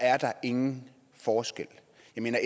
er der ingen forskel